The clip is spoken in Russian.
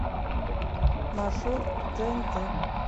маршрут тээнтэ